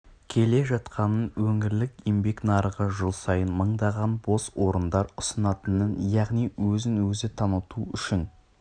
келе жатқанын өңірлік еңбек нарығы жыл сайын мыңдаған бос орындар ұсынатынын яғни өзін-өзі таныту үшін